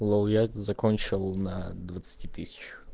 лол я это закончил на двадцати тысячах